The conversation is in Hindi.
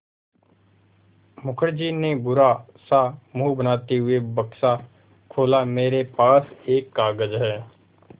मुखर्जी ने बुरा सा मुँह बनाते हुए बक्सा खोला मेरे पास एक कागज़ है